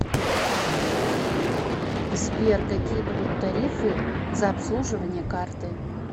сбер какие будут тарифы за обслуживание карты